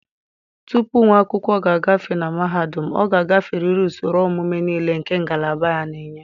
Tupu nwa akwụkwọ ga-agafe na mahadum, ọ ga-agaferịrị usoro ọmụmụ niile nke ngalaba ya na-enye.